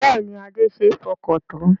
Bẹ́ẹ̀ni Adé ṣe é fọkàn tán